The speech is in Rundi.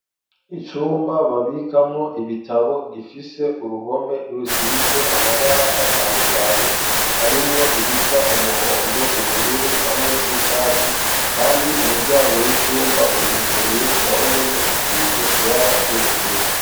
Icumba babikamwo ibitabo gifise uruhome rusize amabara atandukanye harimwo irisa umuhondo ,ubururu hamwe n'icatsi ,kandi umuryango w'icumba uruguruye na wonyene usize ibara ry'ubururu.